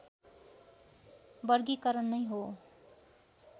वर्गीकरण नै हो